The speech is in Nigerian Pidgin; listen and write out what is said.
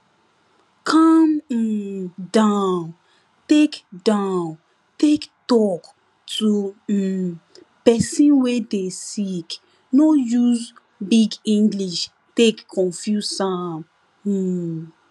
calm um down take down take talk to um pesin wey dey sick no use big english take confuse am um